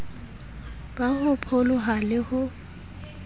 ba ho pholoha le ho